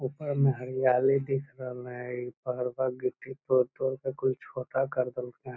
ऊपर में हरियाली दिख रहले हैं इ पहाड़बा फोटो कोई छोटा कर देलके।